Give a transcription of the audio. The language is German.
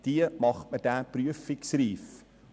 Dieser macht das Fahrzeug prüfungsreif.